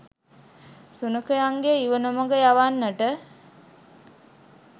සුනඛයින්ගේ ඉව නොමග යවන්නට